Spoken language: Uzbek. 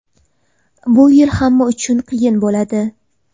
Bu yil hamma uchun qiyin bo‘ladi.